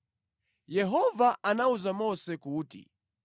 Yehova anawuza Mose kuti,